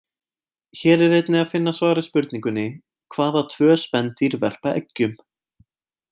Hér er einnig að finna svar við spurningunni: Hvaða tvö spendýr verpa eggjum?